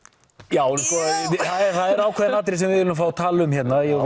já það eru ákveðin atriði sem við viljum fá að tala um